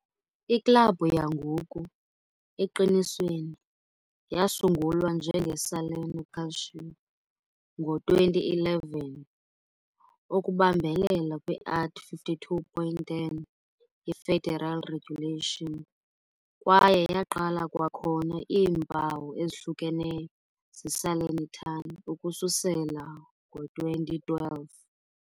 Iklabhu yangoku, eqinisweni, yasungulwa njenge- "Salerno Calcio" ngo-2011, ukubambelela kwi-art. 52.10 ye-federal regulation, kwaye yaqala kwakhona iimpawu ezihlukeneyo ze-Salernitana ukususela ngo-2012.